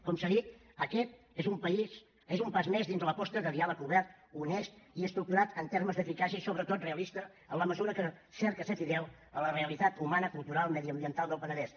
com s’ha dit aquest és un pas més dins de l’aposta de diàleg obert honest i estructurat en termes d’eficàcia i sobretot realista en la mesura que cerca ser fidel a la realitat humana cultural mediambiental del penedès